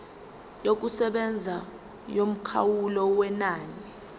yokusebenza yomkhawulo wenani